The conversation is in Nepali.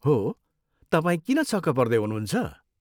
हो, तपाईँ किन छक्क पर्दै हुनुहुन्छ?